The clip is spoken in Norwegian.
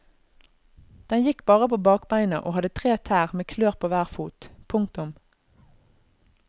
Den gikk bare på bakbeina og hadde tre tær med klør på hver fot. punktum